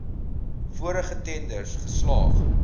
vorige tenders geslaag